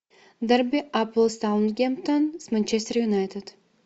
дерби апл саутгемптон с манчестер юнайтед